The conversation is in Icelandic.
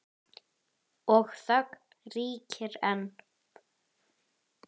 Og þögnin ríkir ein.